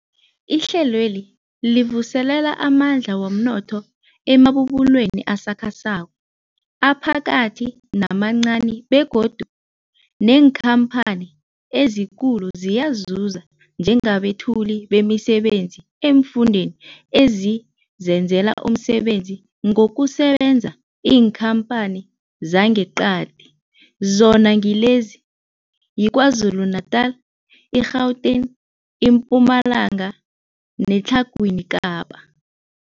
Ihlelweli livuselela amandla womnotho emabubulweni asakhasako, aphakathi namancani begodu neenkhamphani ezikulu ziyazuza njengabethuli bemisebenzi eemfundeni ezizenzela umsebenzi ngokusebenzisa iinkhamphani zangeqadi, zona ngilezi, yiKwaZulu-Natala, i-Gauteng, iMpumalanga neTlhagwini Kapa.